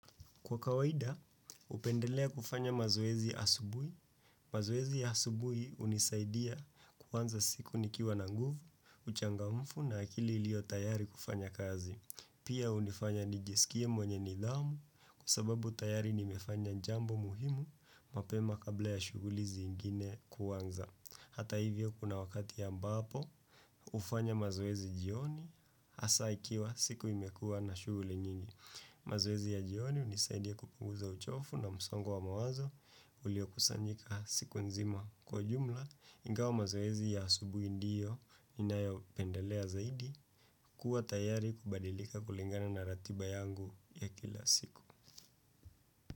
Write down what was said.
Kwa kawaida, hupendelea kufanya mazoezi asubuhi. Mazoezi ya asubuhi hunisaidia kuanza siku nikiwa na nguvu, uchangamfu na akili iliyo tayari kufanya kazi. Pia hunifanya nijiskie mwenye nidhamu kusababu tayari nimefanya jambo muhimu mapema kabla ya shughuli zingine kuanza. Hata hivyo kuna wakati ambapo, hufanya mazoezi jioni hasa ikiwa siku imekua na shughuli nyingi. Mazoezi ya jioni hunisaidia kupunguza uchovu na msongo wa mawazo, ulio kusanyika siku nzima kwa jumla, ingawa mazoezi ya asubuhi ndiyo inayo pendelea zaidi, kuwa tayari kubadilika kulingana na ratiba yangu ya kila siku.